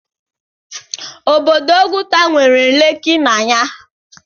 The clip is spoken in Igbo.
Obodo Ọgụta nwere Leeki na ya.